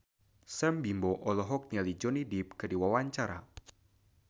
Sam Bimbo olohok ningali Johnny Depp keur diwawancara